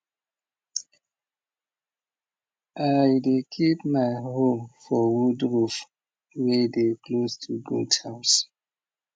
i dey keep my hoe for wood roof way dey close to goat house